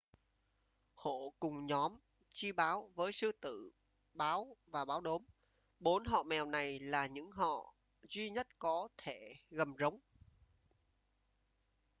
hổ cùng nhóm chi báo với sư tử báo và báo đốm. bốn họ mèo này là những họ duy nhất có thể gầm rống